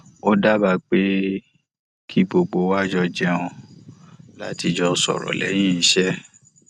ó dábàá pé kí gbogbo wa jọ jẹun láti jọ sọrọ lẹyìn iṣẹ